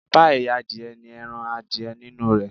Páíì adìẹ ní ẹran adìẹ nínú rẹ̀.